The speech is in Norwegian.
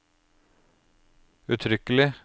uttrykkelig